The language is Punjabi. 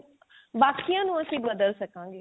ਬਾਕੀਆਂ ਨੂੰ ਅਸੀਂ ਬਦਲ ਸਕਾਂਗੇ